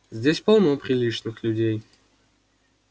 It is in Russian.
здесь полно приличных людей